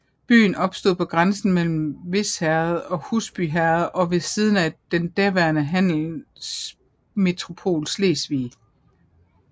Byen opstod på grænsen mellem Vis Herred og Husby Herred og ved siden af den daværende handelsmetropol Slesvig